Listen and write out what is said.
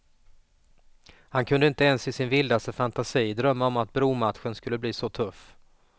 Han kunde inte ens i sin vildaste fantasi drömma om att bromatchen skulle bli så tuff.